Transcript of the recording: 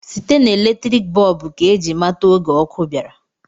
Site na eletriki bọb ka ji amata oge ọkụ bịara.